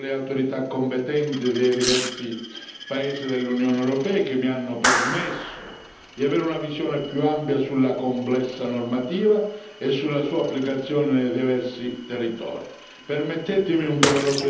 Ne approfitto per ringraziare le autorità competenti dei diversi paesi dell'Unione europea che mi hanno permesso di avere una visione più ampia sulla complessa normativa e sulla sua applicazione nei diversi territori.